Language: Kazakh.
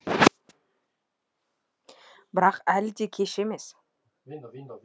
бірақ әлі де кеш емес